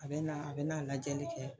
A bɛ na a bɛ na lajɛli kɛ